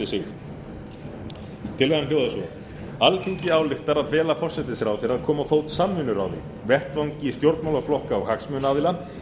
sig tillagan hljóðar svo alþingi ályktar að fela forsætisráðherra að koma á fót samvinnuráði vettvangi stjórnmálaflokka og hagsmunaaðila til